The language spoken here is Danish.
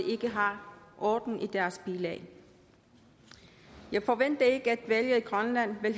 ikke har orden i deres bilag jeg forventer ikke at valget i grønland vil